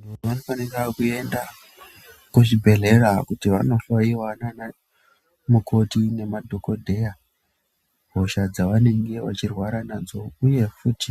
Ma dhodha anofanira kuenda kuzvibhendlera kuti vandohloiwa ndiana mukoti nemadhokodheya, hosha dzavanenge vechirwara nadzo uye futi